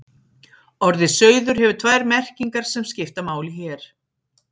Orðið sauður hefur tvær merkingar sem skipta máli hér.